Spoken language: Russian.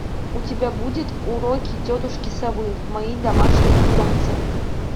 у тебя будет уроки тетушки совы мои домашние питомцы